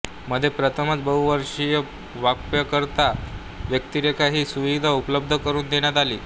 मध्ये प्रथमच बहुभाषीय वापरकर्ता व्यक्तिरेखा ही सुविधा उपलब्ध करून देण्यात आली